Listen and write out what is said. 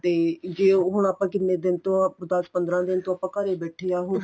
ਤੇ ਜੇ ਹੁਣ ਆਪਾਂ ਕਿੰਨੇ ਦਿਨ ਤੋਂ ਦੱਸ ਪੰਦਰਾਂ ਦਿਨ ਤੋਂ ਆਪਾਂ ਘਰੇ ਬੈਠੇ ਆ ਹੁਣ